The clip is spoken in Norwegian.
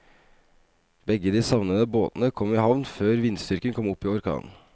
Begge de savnede båtene kom i havn før vindstyrken kom opp i orkan.